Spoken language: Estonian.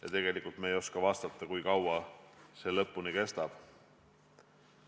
Ja tegelikult ei oska me vastata, kui kaua see kõik veel kestab.